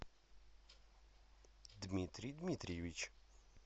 дмитрий дмитриевич